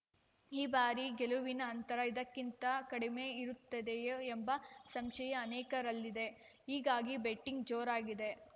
ಈ ಬಾರಿ ಗೆಲುವಿನ ಅಂತರ ಇದಕ್ಕಿಂತ ಕಡಿಮೆ ಇರುತ್ತದೆಯೇ ಎಂಬ ಸಂಶಯ ಅನೇಕರಲ್ಲಿದೆ ಹೀಗಾಗಿ ಬೆಟ್ಟಿಂಗ್‌ ಜೋರಾಗಿದೆ